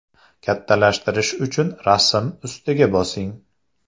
Kattalashtirish uchun rasm ustiga bosing.